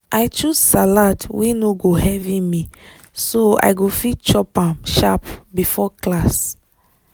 i choose salad wey no go heavy me so i go fit chop am sharp before class.